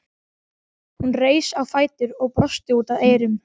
Hún reis á fætur og brosti út að eyrum.